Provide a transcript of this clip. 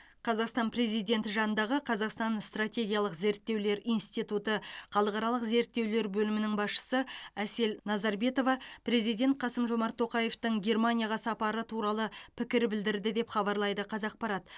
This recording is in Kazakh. қазақстан президенті жанындағы қазақстан стратегиялық зерттеулер институты халықаралық зерттеулер бөлімінің басшысы әсел назарбетова президент қасым жомарт тоқаевтың германияға сапары туралы пікір білдірді деп хабарлайды қазақпарат